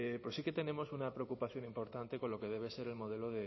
sí que tenemos una preocupación importante con lo que debe ser el modelo